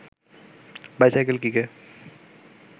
bicycle কিকে